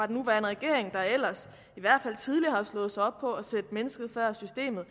nuværende regering der ellers i hvert fald tidligere har slået sig op på at sætte mennesket før systemet